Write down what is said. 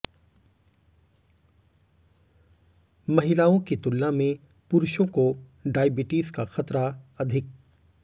महिलाओं की तुलना में पुरुषों को डायबिटीज का खतरा अधिक